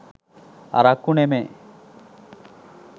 අරක්කු නෙමේ.